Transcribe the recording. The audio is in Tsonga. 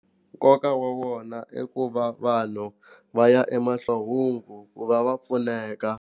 Nkoka wa wona i ku va vanhu va ya emahlohungu ku ku va va pfuneka.